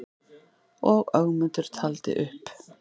Og Ögmundur taldi upp: